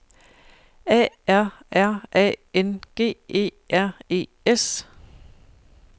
A R R A N G E R E S